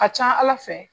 A ka ca ala fɛ